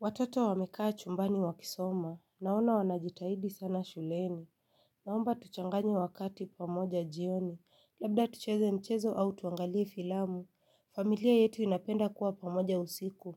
Watoto wamekaa chumbani wakisoma. Naona wanajitahidi sana shuleni. Naomba tuchanganye wakati pamoja jioni. Labda tucheze mchezo au tuangalie filamu. Familia yetu inapenda kuwa pamoja usiku.